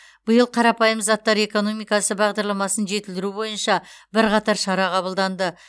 биыл қарапайым заттар экономикасы бағдарламасын жетілдіру бойынша бірқатар шара қабылданды